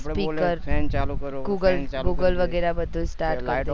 આપડે બોલે speaker google google વગેરે બધું જ start કરીએ